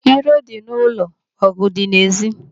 Iro dị n'ụlọ mana ọgụ dị n'èzí.